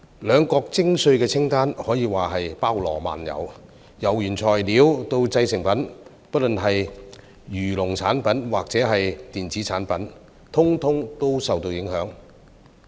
兩國徵稅的清單可說是包羅萬有，由原材料到製成品，不論漁農產品或電子產品，一律受到影響。